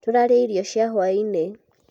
tũraria irio cia hwainĩ